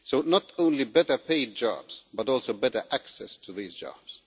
So not only better paid jobs but also better access to these jobs.